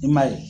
I m'a ye